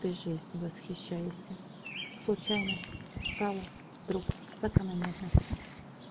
ты жизнью восхищаешься случайность стала вдруг закономерностью